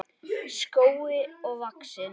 skógi vaxinn.